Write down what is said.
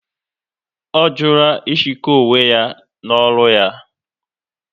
Ọ jụrụ ịshoko onwe ya n'ọrụ ya